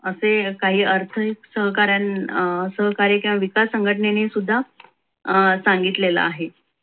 असे काही अर्थ सहकार्य अं सहकारी किंवा विकास संघटनेने सुद्धा अं सांगितलेले आहे.